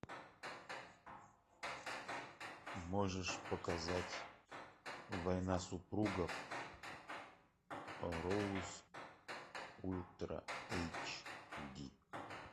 можешь показать война супругов роуз ультра эйч ди